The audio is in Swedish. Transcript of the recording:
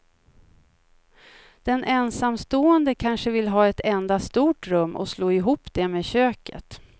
Den ensamstående kanske vill ha ett enda stort rum och slå ihop det med köket.